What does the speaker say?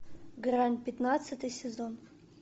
грань пятнадцатый сезон